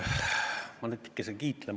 Ma natukese kiitlen.